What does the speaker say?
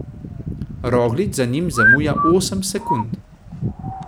Roglič za njim zamuja osem sekund.